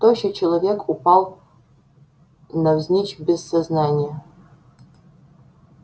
тощий человек упал навзничь без сознания